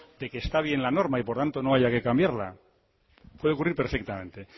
de que está bien la norma y por tanto no haya que cambiarla puede ocurrir perfectamente